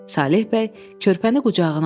Saleh bəy körpəni qucağına aldı.